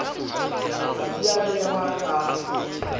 ha di a behwa ka